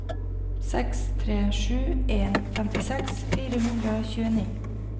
seks tre sju en femtiseks fire hundre og tjueni